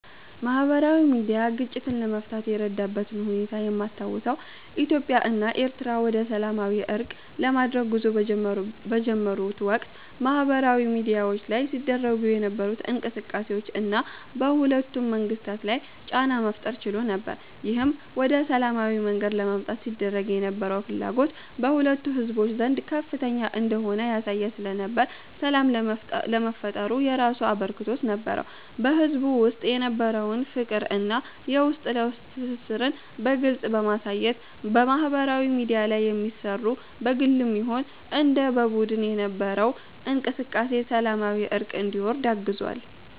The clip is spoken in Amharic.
ማህበራዊ ሚድያ ግጭትን ለመፍታት የረዳበትን ሁኔታ የማስታውሰው ኢትዮጵያ እና ኤሪትሪያ ወደሰላማዊ እርቅ ለማድረግ ጉዞ በጀመሩት ወቅት በማህበራዊ ሚድያዎች ላይ ሲደረጉ የነበሩት እንቅስቃሴዎች እና በሁለቱም መንግስታት ላይ ጫና መፍጠር ችሎ ነበር። ይህም ወደ ሰላማዊ መንገድ ለመምጣት ሲደረግ የነበረው ፍላጎት በሁለቱም ህዝቦች ዘንድ ከፍተኛ እንደሆነ ያሳየ ስለነበር ሰላም ለሚፈጠሩ የራሱ አበርክቶት ነበረው። በህዝቡ ውስጥ የነበረውን ፍቅር እና የውስጥ ለውስጥ ትስስርን በግልጽ በማሳየት ማህበራዊ ሚድያ ላይ የሚሰሩ በግልም ይሁን እንደ በቡድን የነበረው እንቅስቃሴ ሰላማዊ እርቅ እንዲወርድ አግዟል።